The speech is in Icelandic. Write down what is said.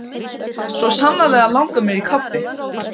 Svo sannarlega langar mig í kaffi.